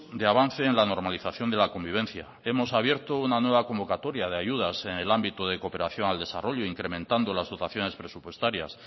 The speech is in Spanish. de avance en la normalización de la convivencia hemos abierto una nueva convocatoria de ayudas en el ámbito de cooperación al desarrollo incrementando las dotaciones presupuestarias